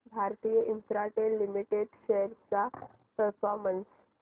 Bharti Infratel limited shares चा performance